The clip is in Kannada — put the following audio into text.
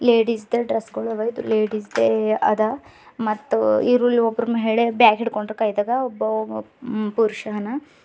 ಲೇಡೀಸ್ ದ ಡ್ರೆಸ್ ಗುಳವ ಇದು ಲೇಡೀಸ್ ದ ಏರಿಯಾ ಅದ ಮತ್ತು ಇರೋಲಿ ಒಬ್ಬ ಮಹಿಳೆ ಬ್ಯಾಗ್ ಇಡ್ಕೊಂಡು ಕೈದದ ಒಬ್ಬ ಪುರುಷನ ಅನ.